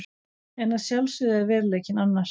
En að sjálfsögðu er veruleikinn annar!